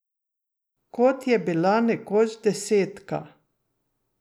Kot je bila nekoč desetka.